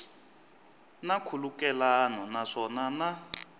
na nkhulukelano naswona ku na